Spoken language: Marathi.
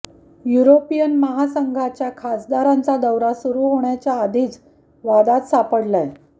युरोपियन महासंघाच्या खासदारांचा दौरा सुरू होण्याच्या आधीच वादात सापडलाय